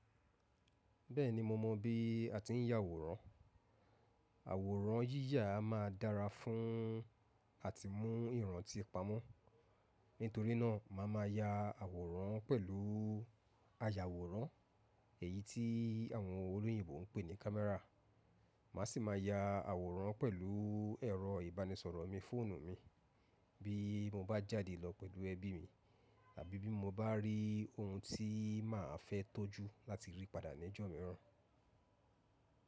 Bẹ́ẹ̀ni mo mọ bí a ti ń ya àwòrán. Àwòrán yíyà máa dára fún àti mú ìrántí pamọ́. Nítorí náà màá ma ya àwòrán pẹ̀lú ayàwòrán èyí tí àwọn olóyìnbo ń pè ní kámẹ́rà. Màá sì máa ya àwòrán pẹ̀lú ẹ̀rọ ìbánisọ̀rọ̀ mi, fóònù mi bí mo bá jáde lọ pẹ̀lú ẹbí mi àbí bí mo bá rí ohun tí màá fẹ́ tọ́jú láti rí padà ní ọjọ́ mìíràn.